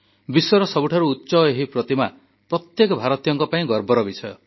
ବିଶ୍ୱର ସବୁଠାରୁ ଉଚ୍ଚ ଏହି ପ୍ରତିମା ପ୍ରତ୍ୟେକ ଭାରତୀୟଙ୍କ ପାଇଁ ଗର୍ବର ବିଷୟ